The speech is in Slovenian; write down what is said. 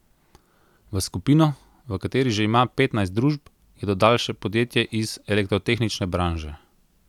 V skupino, v kateri že ima petnajst družb, je dodal še podjetje iz elektrotehnične branže.